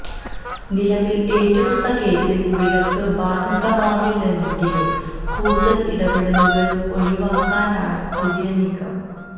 നിലവില് ഏറ്റെടുത്ത കേസില് വിലക്ക് ബാധകമാവില്ലെങ്കിലും കൂടുതല് ഇടപെടലുകള് ഒഴിവാക്കാനാണ് പുതിയ നീക്കം